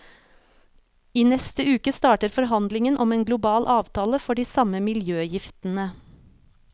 I neste uke starter forhandlingen om en global avtale for de samme miljøgiftene.